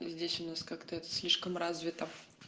здесь у нас как-то это слишком развито